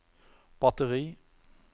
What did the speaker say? batteri